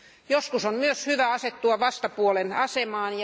Joskus on myös hyvä asettua vastapuolen asemaan.